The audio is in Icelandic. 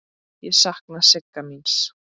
Ég sakna Sigga míns.